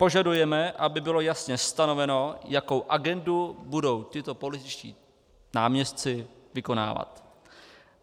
Požadujeme, aby bylo jasně stanoveno, jakou agendu budou tito političtí náměstci vykonávat.